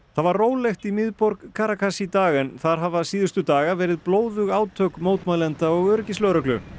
það var rólegt í miðborg Caracas í dag en þar hafa síðustu daga verið blóðug átök mótmælenda og öryggislögreglu